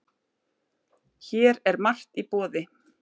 Hér er margt í boði.